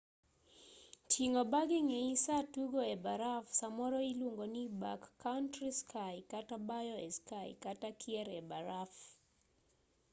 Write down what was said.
ting'o bag eng'eyi saa tugo e baraf samoro iluongo ni backcountry ski kata bayo e ski kata kier e baraf